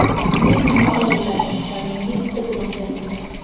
Men uni o‘g‘irladim va menga bitta gunoh yozildi.